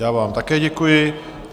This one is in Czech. Já vám také děkuji.